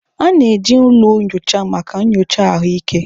A na-eji ụlọ nyocha maka nyocha ahụike.